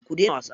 Ku daina wasa.